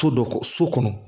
So dɔ so kɔnɔ